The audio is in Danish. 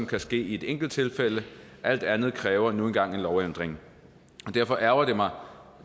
kan ske i et enkelttilfælde alt andet kræver nu engang en lovændring og derfor ærgrer